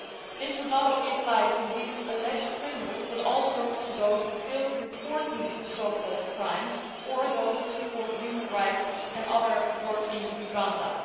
This would not only apply to these alleged criminals but also to those who failed to report these so called crimes, or who support human rights and other work in Uganda.